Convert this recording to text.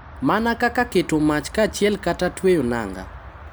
Mana kaka keto mach kanyachiel kata tweyo nanga.